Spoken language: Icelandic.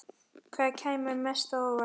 Hvað kemur mest á óvart?